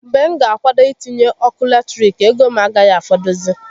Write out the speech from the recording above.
Mgbe m ga akwado itinye ọkụ latirik, ego m agaghi afọdụzị